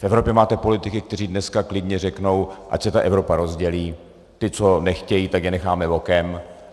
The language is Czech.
V Evropě máte politiky, kteří dneska klidně řeknou: Ať se ta Evropa rozdělí, ti, co nechtějí, tak je necháme bokem.